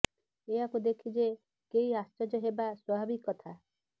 ଏହାକୁ ଦେଖି ଯେ କେହି ଆଶ୍ଚର୍ଯ୍ୟ ହେବା ସ୍ବାଭାବିକ କଥା